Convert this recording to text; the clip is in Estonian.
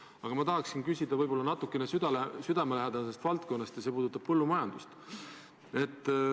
Aga küsimuse tahaksin ma esitada võib-olla natuke südamelähedasema valdkonna kohta ja see puudutab põllumajandust.